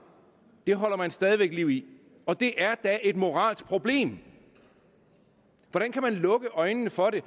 holder man stadig væk liv i og det er da et moralsk problem hvordan kan man lukke øjnene for det